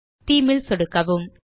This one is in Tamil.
தேமே ல் சொடுக்கவும்